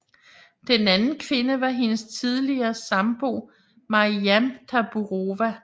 Den anden kvinde var hendes tidligere sambo Marijam Taburova